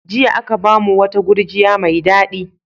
Jiya aka ba mu wata gurjiya mai daɗi.